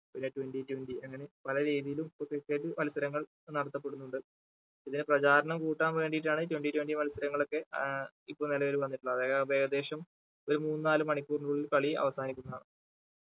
പിന്നെ twenty twenty അങ്ങനെ പല രീതിയിലും ഇപ്പൊ cricket മത്സരങ്ങൾ നടത്തപ്പെടുന്നുണ്ട് ഇതിന് പ്രചാരണം കൂട്ടാൻ വേണ്ടീട്ടാണ് twenty twenty മത്സരങ്ങൾ ഒക്കെ ഏർ ഇപ്പൊ നിലവിൽ വന്നിട്ടുള്ളത് അതായത് അവ ഏകദേശം മൂന്ന് നാല് മണിക്കൂറിനുള്ളിൽ കളി അവസാനിക്കുന്നതാണ്